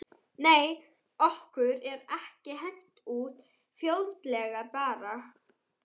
Nei var okkur ekki hent út fljótlega bara?